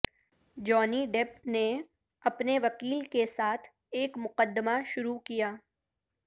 جانی ڈپپ نے اپنے وکیل کے ساتھ ایک مقدمہ شروع کیا